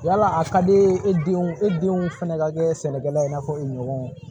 Yala a ka di e denw e denw fɛnɛ ka kɛ sɛnɛkɛla ye i n'a fɔ u ɲɔgɔnw